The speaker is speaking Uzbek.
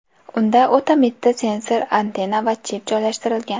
Unda o‘ta mitti sensor, antenna va chip joylashtirilgan.